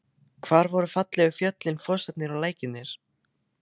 Hvar voru fallegu fjöllin, fossarnir og lækirnir?